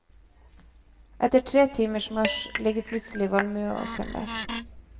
Etter tre timers marsj ligger plutselig valmueåkeren der.